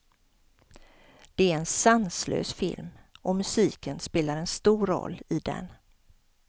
Det är en sanslös film, och musiken spelar en stor roll i den.